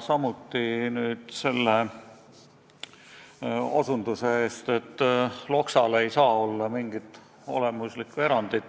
Samuti tänan teda osutuse eest, et Loksa puhul ei saa olla tegu mingi olemusliku erandiga